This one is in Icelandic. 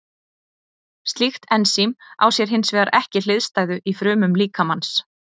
Slíkt ensím á sér hins vegar ekki hliðstæðu í frumum líkamans.